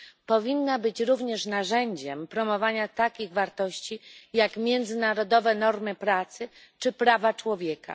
Powinna być również narzędziem promowania takich wartości jak międzynarodowe normy pracy czy prawa człowieka.